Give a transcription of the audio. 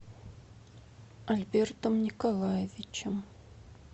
альбертом николаевичем